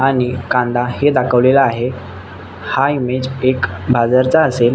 आणि कांदा हे दाखवलेला आहे. हा एक इमेअ एक बाजारचा असेल.